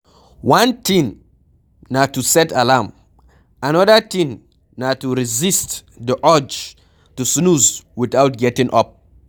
One thing na to set alarm, anoda thing na to resist di urge to snooze without getting up